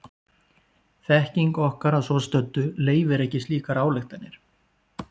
þekking okkar að svo stöddu leyfir ekki slíkar ályktanir